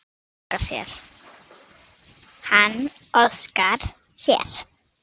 Hann óskar sér.